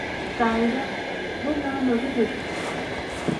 Gaigai, menye ano kibet?